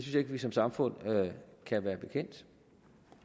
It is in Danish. jeg ikke vi som samfund kan være bekendt